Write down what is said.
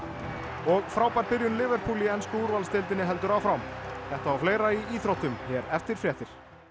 og frábær byrjun Liverpool í ensku úrvalsdeildinni heldur áfram þetta og fleira í íþróttum hér eftir fréttir